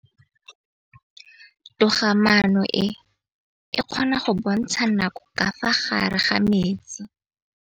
Toga-maanô e, e kgona go bontsha nakô ka fa gare ga metsi.